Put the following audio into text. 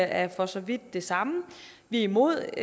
er for så vidt de samme vi er imod